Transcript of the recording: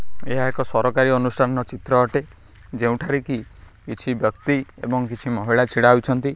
ଏହା ଏକ ସରକାରୀ ଅନୁଷ୍ଠାନର ଚିତ୍ର ଅଟେ ଯେଉଁଠାରେ କି କିଛି ବ୍ୟକ୍ତି ଏବଂ କିଛି ମହିଳା ଛିଡ଼ା ହୋଇଛନ୍ତି।